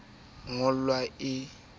a eo ya ngollwang e